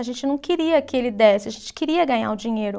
A gente não queria que ele desse, a gente queria ganhar o dinheiro.